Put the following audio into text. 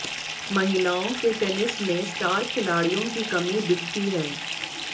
महिलाओं के टेनिस में स्टार खिलाड़ियों की कमी दिखती है